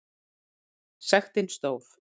Sektin stóð.